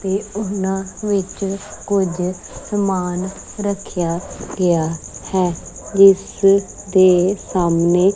ਤੇ ਉਹਨਾਂ ਵਿੱਚ ਕੁਝ ਸਮਾਨ ਰੱਖਿਆ ਗਿਆ ਹੈ ਜਿਸ ਦੇ ਸਾਹਮਣੇ--